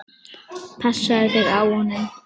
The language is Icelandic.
Passaðu þig á honum.